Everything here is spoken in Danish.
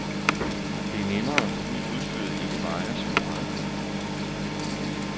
Det er nemmere, fordi udstyret ikke vejer så meget.